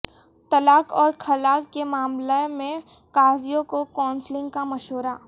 طلاق اور خلع کے معاملہ میں قاضیوں کو کونسلنگ کا مشورہ